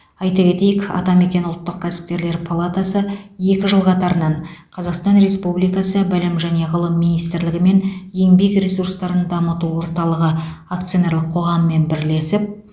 айта кетейік атамекен ұлттық кәсіпкерлер палатасы екі жыл қатарынан қазақстан республикасы білім және ғылым министрлігі мен еңбек ресурстарын дамыту орталығы акционерлік қоғамымен бірлесіп